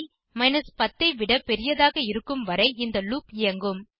10 ஐ விட பெரிதாக இருக்கும் வரை இந்த லூப் இயங்கும்